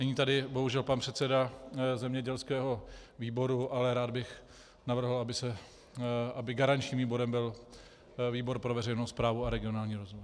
Není tady bohužel pan předseda zemědělského výboru, ale rád bych navrhl, aby garančním výborem byl výbor pro veřejnou správu a regionální rozvoj.